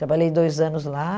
Trabalhei dois anos lá.